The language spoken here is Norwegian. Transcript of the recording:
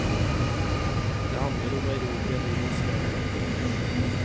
Det handler om å erobre livets mening.